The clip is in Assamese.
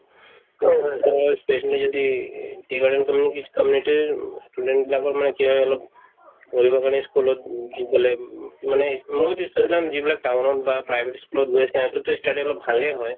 যদি tea garden তো মানে কি community ৰ উম student বিলাকৰ মানে কি হয় অলপ পঢ়িবৰ কাৰণে ই school ত গুচি গ'লে উম মানে ই school ত যিবিলাক town ত বা private ই school ত গৈ সিহঁতৰতো ই study অলপ ভালে হয়